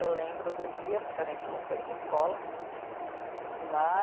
Eu lembro do dia, porque a gente não foi para a escola né.